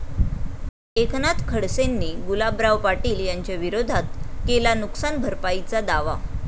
एकनाथ खडसेंनी गुलाबराव पाटील यांच्याविरोधात केला नुकसान भरपाईचा दावा